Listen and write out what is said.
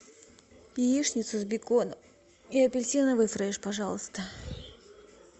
яичница с беконом и апельсиновый фреш пожалуйста